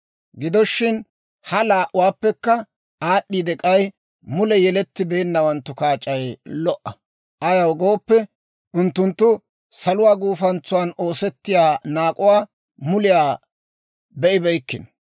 Gido shin, ha laa"uwaappekka aad'd'iide k'ay, mule yelettibeennawanttu kaac'ay lo"a; ayaw gooppe, unttunttu saluwaa gufantsan oosettiyaa naak'uwaa muliyaa be'ibeykkino.